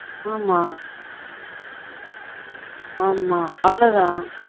ஆமா ஆமா அவ்வளவு தான்